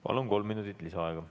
Palun, kolm minutit lisaaega.